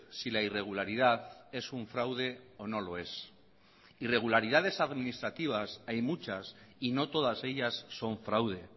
si la irregularidad es un fraude o no lo es irregularidades administrativas hay muchas y no todas ellas son fraude